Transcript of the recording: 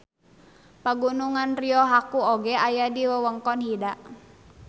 Pagunungan Ryohaku oge aya di wewengkon Hida.